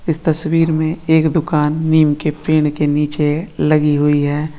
इस तस्वीर मे एक दुकान नीम के पेड़ के नीचे लगि हुई है।